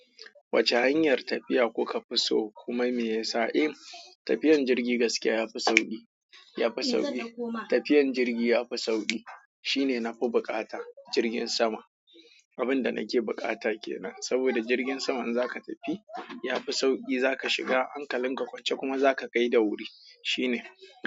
Wacce hanyar tafiya kuka fi so kuma me yasa? Eh tafiyan jirgi gaskiya yafi sauƙi, yafi sauƙi. Tafiyan jirgi ya fi sauƙi. Shine nafi buƙata. Jirgin sama. Abinda nake buƙata kenan. Saboda jirgin sama in zaka tafi yafi sauƙi zaka shiga hankalin ka kwance kuma zaka kai da wuri. Shine.